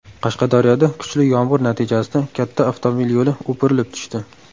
Qashqadaryoda kuchli yomg‘ir natijasida katta avtomobil yo‘li o‘pirilib tushdi .